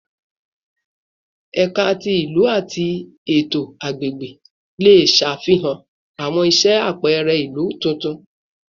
Ẹka ti Ilu ati Eto Agbegbe le ṣafihan awọn iṣẹ apẹrẹ ilu tuntun